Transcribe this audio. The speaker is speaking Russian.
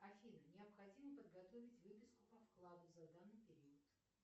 афина необходимо подготовить выписку по вкладу за данный период